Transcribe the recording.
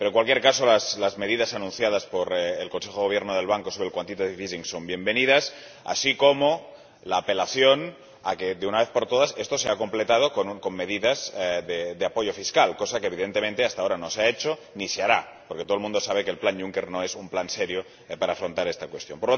Pero, en cualquier caso, las medidas anunciadas por el Consejo de Gobierno del Banco sobre el son bienvenidas, así como la apelación a que, de una vez por todas, esto sea completado con medidas de apoyo fiscal, cosa que, evidentemente, hasta ahora no se ha hecho ni se hará, porque todo el mundo sabe que el plan Juncker no es un plan serio para afrontar esta cuestión.